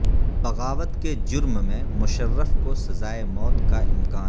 بغاوت کے جرم میں مشرف کو سزائے موت کا امکان